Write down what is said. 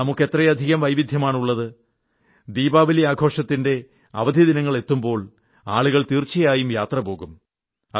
നമുക്ക് എത്രയധികം വൈവിധ്യമാണുള്ളത് ദീപാവലി ആഘോഷത്തിന്റെ അവധി ദിനങ്ങളെത്തുമ്പോൾ ആളുകൾ തീർച്ചയായും യാത്ര പോകും